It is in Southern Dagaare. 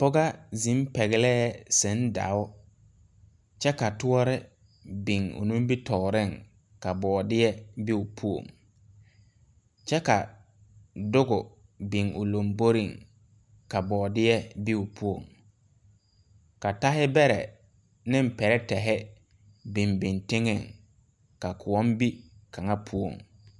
Pɔgɔ zeŋ pɛglɛɛ tuŋdao kyɛ ka tɔɔre biŋ o nimibitooreŋ ka bɔɔdeɛ be o poɔŋ kyɛ ka duge biŋ o lomboreŋ ka bɔɔdeɛ be o poɔŋ ka tahibɛrɛ neŋ pirɛtehi biŋ biŋ teŋɛŋ ka kõɔŋ be kaŋa poɔŋ.